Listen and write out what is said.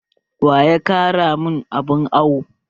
Waya karya mun abun awo?